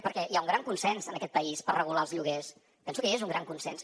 perquè hi ha un gran consens en aquest país per regular els lloguers penso que hi és un gran consens